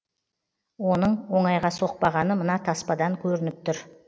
оның оңайға соқпағаны мына таспадан көрініп тұр